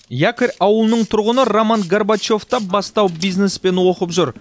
якорь ауылының тұрғыны роман горбачев та бастау бизнеспен оқып жүр